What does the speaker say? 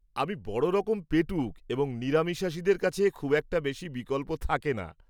আমি বড় রকম পেটুক এবং নিরামিষাশীদের কাছে খুব একটা বেশি বিকল্প থাকে না।